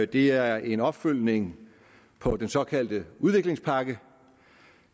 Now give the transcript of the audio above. det er en opfølgning på den så kaldte udviklingspakke